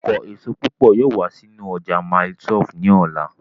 Ọkọ èso púpọ̀ yóò wá sínú ọjà mile 12 ní ọ̀la